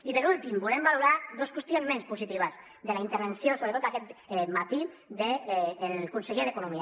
i per últim volem valorar dos qüestions menys positives de la intervenció sobretot aquest matí del conseller d’economia